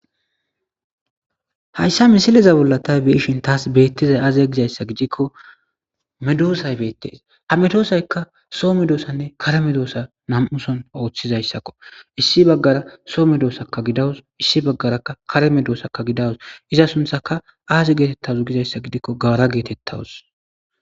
hayssa misileza bolla ta biishin taas beettizay aazya gizayssa gidikko medoosay beettes ha medoosaykka soo medoosanne kare medoosa nam7uson ooththizayssakko issi baggara soo medoosaka gidawus issi baggarakka kare medoosaka gidawus iza sunthaka aaze geetettawos gizayssa gidikko gawara geetettawus